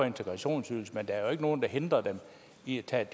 integrationsydelsen men der er jo ikke nogen der hindrer dem i at tage et